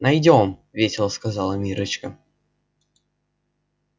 найдём весело сказала миррочка